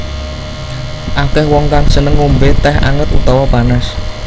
Akèh wong kang seneng ngombé tèh anget utawa panas